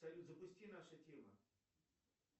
салют запусти наша тема